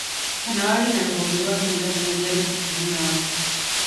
Kana warie na rũhonge rwa Girigaca rũria rwĩhakuhĩ nawe.